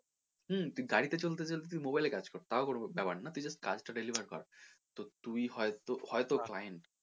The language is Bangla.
হুম তুই গাড়ি তে চলতে চলতে mobile এ কাজ কর তাও কোনো ব্যাপার না তুই just কাজটা deliver কর তো তুই হয়তো, হয়তো client